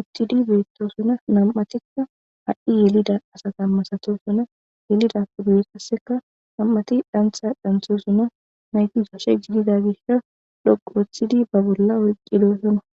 uttidi beettosuna nam7atikka had7i yelida asata masato suna yelida puduye qasseka nam7ati dhantha dhanthosuna nayti soshe jiidida gisha loqu woththidi ba bolla olqidosona